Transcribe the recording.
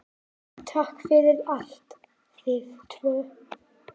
Takk fyrir allt, þið tvö.